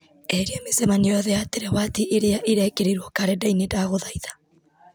eheria mĩcemanio yothe ya terawati ĩrĩa ĩrekĩrirwo karenda-inĩ ndagũthaitha